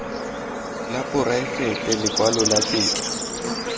la poraefete lekwalo la tetla